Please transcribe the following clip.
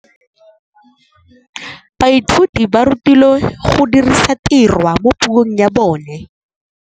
Baithuti ba rutilwe go dirisa tirwa mo puong ya bone.